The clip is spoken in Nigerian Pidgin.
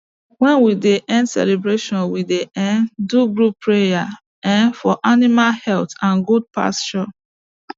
when we dey end celebration we dey um do group prayer um for animal health and good pasture